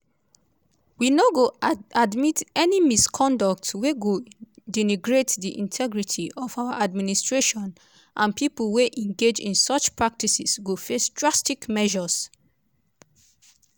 "we no go admit any misconduct wey go denigrates di integrity of our administration and pipo wey engage in such practices go face drastic measures."